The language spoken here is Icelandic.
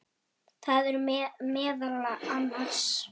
Það eru meðal annars